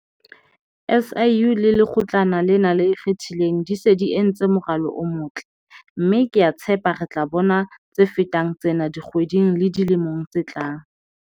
SIU le Lekgotlana lena le Ikgethileng di se di entse moralo o motle, mme ke a tshepa re tla bona tse fetang tsena dikgweding le dilemong tse tlang.